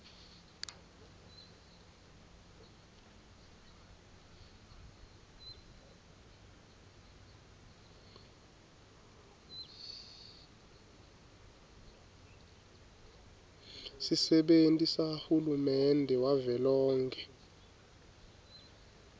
sisebenti sahulumende wavelonkhe